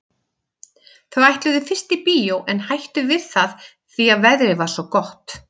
Þau ætluðu fyrst í bíó en hættu við það því að veðrið var svo gott.